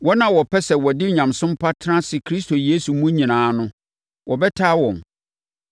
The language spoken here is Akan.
Wɔn a wɔpɛ sɛ wɔde onyamesom pa tena ase Kristo Yesu mu nyinaa no, wɔbɛtaa wɔn,